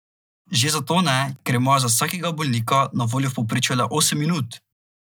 Že zato ne, ker imajo za vsakega bolnika na voljo v povprečju le osem minut!